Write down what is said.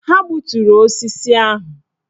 Ha gbuturu osisi ahụ.